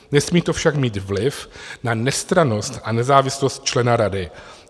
Nesmí to však mít vliv na nestrannost a nezávislost člena rady.